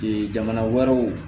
jamana wɛrɛw